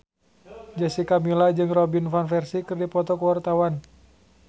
Jessica Milla jeung Robin Van Persie keur dipoto ku wartawan